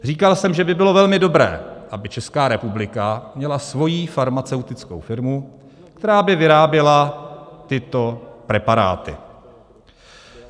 Říkal jsem, že by bylo velmi dobré, aby Česká republika měla svoji farmaceutickou firmu, která by vyráběla tyto preparáty.